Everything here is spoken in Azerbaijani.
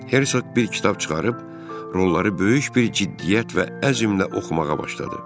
Hersoq bir kitab çıxarıb, rolları böyük bir ciddiyyət və əzmlə oxumağa başladı.